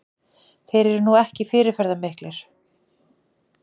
Þeir eru nú ekki fyrirferðarmiklir